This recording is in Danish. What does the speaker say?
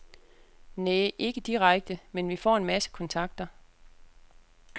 Næh, ikke direkte, men vi får en masse kontakter.